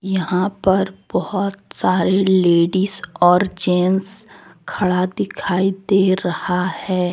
यहां पर बहोत सारे लेडिस और जेन्स खड़ा दिखाई दे रहा है।